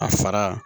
A fara